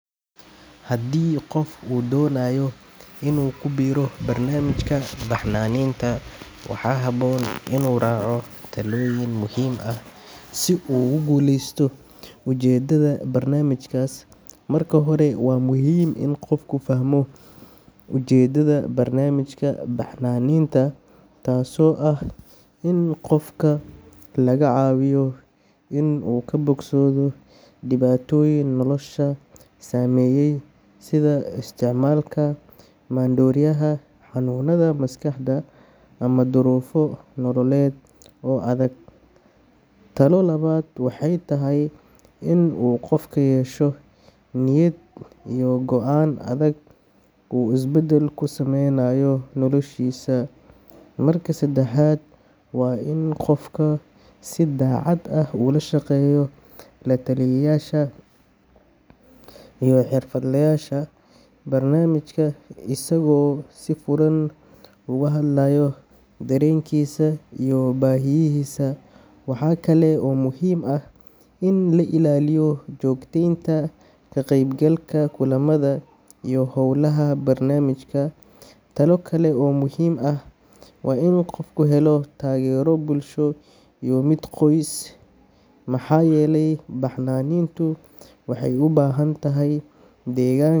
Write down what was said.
Haddii qof uu doonayo inuu ku biiro barnaamijka baxnaaninta, waxaa habboon inuu raaco talooyin muhiim ah si uu ugu guuleysto ujeeddada barnaamijkaas. Marka hore, waa muhiim in qofku fahmo ujeeddada barnaamijka baxnaaninta, taasoo ah in qofka laga caawiyo inuu ka bogsado dhibaatooyin nolosha saameeyay sida isticmaalka maandooriyaha, xanuunada maskaxda, ama duruufo nololeed oo adag. Talo labaad waxay tahay inuu qofku yeesho niyad iyo go'aan adag oo uu isbeddel ku samaynayo noloshiisa. Marka saddexaad, waa in qofku si daacad ah ula shaqeeyo la-taliyayaasha iyo xirfadlayaasha barnaamijka, isagoo si furan uga hadlaya dareenkiisa iyo baahiyihiisa. Waxaa kale oo muhiim ah in la ilaaliyo joogteynta ka qaybgalka kulamada iyo howlaha barnaamijka. Talo kale oo muhiim ah waa in qofku helo taageero bulsho iyo mid qoys, maxaa yeelay baxnaanintu waxay u baahan tahay deegaan.